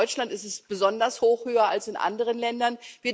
Ich weiß, in Deutschland ist er besonders hoch, höher als in anderen Ländern.